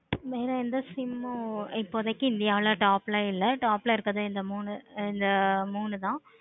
வேற எந்த sim உம் இப்போதைக்கு இல்லை அவ்ளோதான் top ல இருக்க இந்த மூணுல மூணு தான்